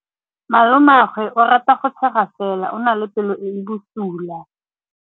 Malomagwe o rata go tshega fela o na le pelo e e bosula.